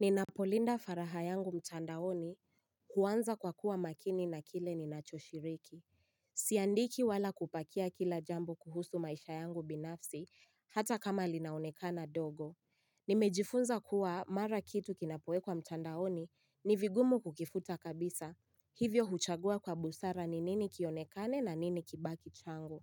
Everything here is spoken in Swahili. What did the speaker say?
Ninapolinda faraha yangu mtandaoni kwanza kwa kuwa makini na kile ninachoshiriki. Siandiki wala kupakia kila jambo kuhusu maisha yangu binafsi hata kama linaonekana dogo. Nimejifunza kuwa mara kitu kinapowekwa mtandaoni ni vigumu kukifuta kabisa. Hivyo huchagua kwa busara ni nini kionekane na nini kibaki changu.